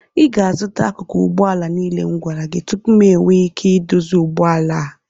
Ị ga-azụta akụkụ ụgbọ ala niile m gwara gị tupu m enwee ike ịdozi ụgbọ ala a